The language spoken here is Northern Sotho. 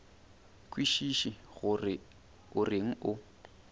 kwešiše gore o reng o